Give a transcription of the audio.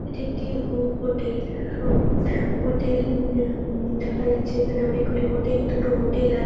এটি একটি হো হোটেল সোম হোটেল নি অম দেখা যাচ্ছে এখানে অনেকগুলি হোটেল । দুটো হোটেল আ--